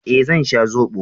Eh, zan sha zobo.